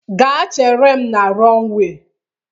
Gaa chere m na rọnwee